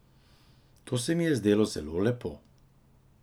To se mi je zdelo zelo lepo.